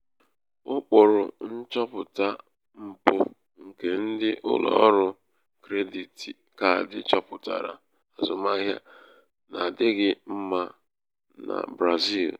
ụkpụrụ nchọpụta mpụ nke ndị ụlọ ọrụ krediti kaadi chọpụtara azụmahịa n'adịghị mma na brazil.